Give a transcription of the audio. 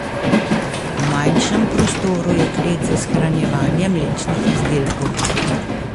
V manjšem prostoru je klet za shranjevanje mlečnih izdelkov.